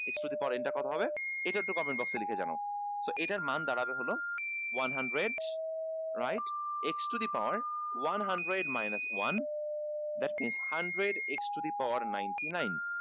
x to the power n টা কত হবে এইটা একটু comment box এ লিখে জানাও so এটার মান দাড়াবে হল one hundred right x to the power one hundred minus one that's means hundred x to the power ninety nine